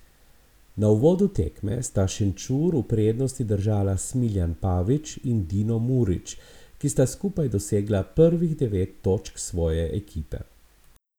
Na uvodu tekme sta Šenčur v prednosti držala Smiljan Pavić in Dino Murić, ki sta skupaj dosegla prvih devet točk svoje ekipe.